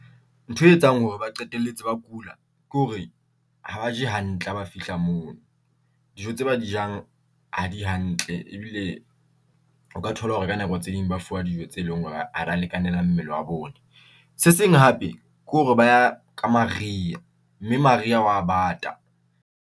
Ntho e etsang hore ba qetelletse ba kula, ke hore ha ba je hantle ha ba fihla mono, dijo tse ba jang ha di hantle. Ebile o ka thola hore ka nako tse ding ba fuwa dijo tse leng hore ha di a lekanela mmele wa bone. Se seng hape ke hore ba ya ka maria, mme maria hwa bata.